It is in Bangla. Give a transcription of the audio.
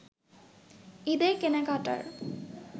ঈদের কেনাকাটার